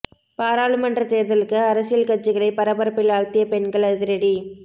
பாராளுமன்ற தேர்தலுக்கு அரசியல் கட்சிகளை பரபரப்பில் ஆழ்த்திய பெண்கள் அதிரடி